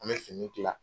An bɛ fini tila